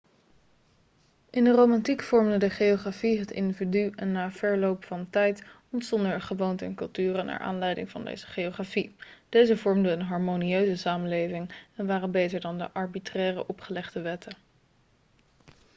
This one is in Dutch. in de romantiek vormde de geografie het individu en na verloop van tijd ontstonden er gewoonten en culturen naar aanleiding van deze geografie deze vormden een harmonieuze samenleving en waren beter dan de arbitraire opgelegde wetten